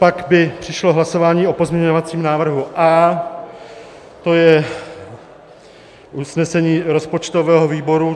Pak by přišlo hlasování o pozměňovacím návrhu A, to je usnesení rozpočtového výboru.